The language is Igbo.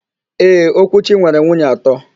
Ee, Okwuchi nwere nwunye atọ.